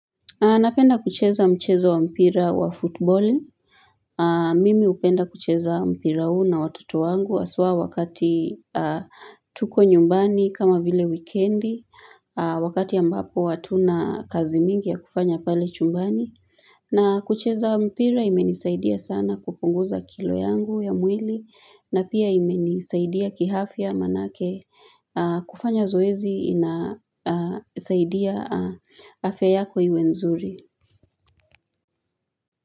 Napenda kucheza mchezo wa mpira wa soka. Mimi hupenda kucheza mpira huu na watoto wangu, hasa wakati tuko nyumbani, kama vile wikendi, wakati ambapo hatuna kazi nyingi ya kufanya pale chumbani. Na kucheza mpira kimenisaidia sana kupunguza kilo za mwili wangu na pia kimenisaidia kiafya, maana kufanya zoezi inasaidia afya yako iwe nzuri.